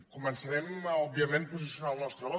començarem òbviament posicionant el nostre vot